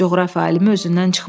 Coğrafiya alimi özündən çıxmışdı.